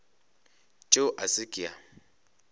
tšeo a se ke a